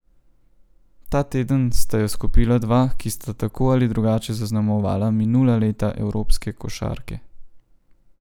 Ta teden sta jo skupila dva, ki sta tako ali drugače zaznamovala minula leta evropske košarke.